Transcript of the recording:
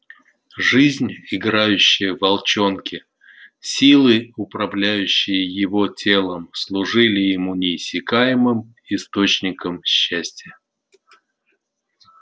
жизнь играющая в волчонке силы управляющие его телом служили ему неиссякаемым источником счастья